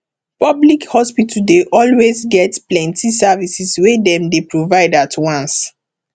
public hospital dey always get plenty services wey dem dey provide at once